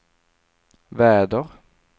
väder